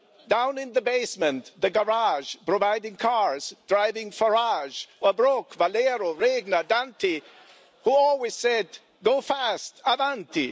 down in the basement, the garage, providing cars, driving Farage, or Brok, Valero, Regner, Danti, who always said, Go fast, avanti